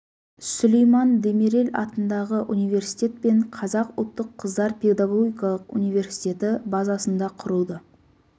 сүлейман демирел атындағы университет пен қазақ ұлттық қыздар педагогикалық университеті базасында құрылды